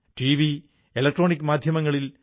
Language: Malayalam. ഐക്യമാണ് പുരോഗതി ഐക്യമാണ് ശാക്തീകരണം